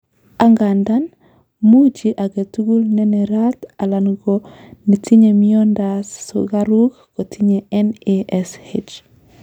Angandan, mochi agetukul nenerat alan ko netinye miondas sukaruk kotinye NASH.